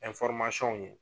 ye